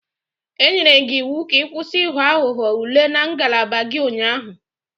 E nyere gị iwu ka ị kwụsị Ị ghọ aghụghọ ule na ngalaba gị ụnyaahụ!